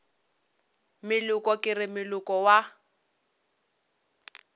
moleko ke re moleko wa